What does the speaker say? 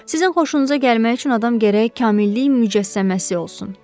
Sizin xoşunuza gəlmək üçün adam gərək kamillik mücəssəməsi olsun.